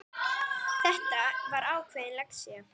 Þetta var ákveðin lexía.